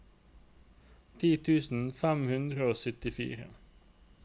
ti tusen fem hundre og syttifire